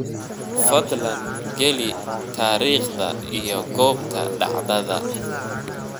Fadlan geli taariikhda iyo goobta dhacdada.